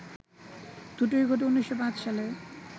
দুটোই ঘটে ১৯০৫ সালে